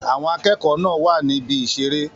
Àwọn akẹ́kọ̀ọ́ náà wà ní ibi ìṣeré.